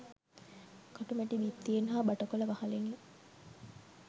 කටුමැටි බිත්තියෙන් හා බටකොළ වහලෙනි